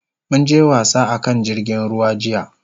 Mun je wasa a kan jirgin ruwa jiya.